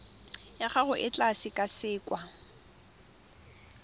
ya gago e tla sekasekwa